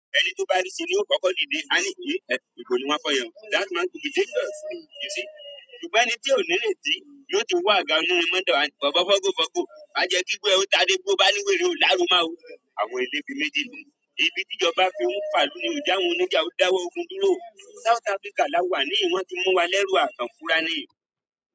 Ẹni tó bá rí síi ni ó fọkọ lude, a ní ìyè, ẹ kò lè wá f'ọyàn. That's not to be dangerous, you see. Júbà ni tí ò nírètí, yóò tún wá ga nínú omodọ, àní f'ọfọ́ fọ́fọ́ fọkọ. Má jẹ́ kígbe, ẹrú ta dé gbó bá léwé rí ò lárù máa wò. Àwọn eléébi méjì ni. Ibi tí ìjọba fi ń fàlù ni ò já wọn lọ́jà, ó dáwọ́ ogun dúró. South Africa la wà ní, wọ́n ti mú wa lẹ́rú àtàn fúrà ni.